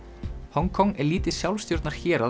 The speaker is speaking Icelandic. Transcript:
Hong Kong er lítið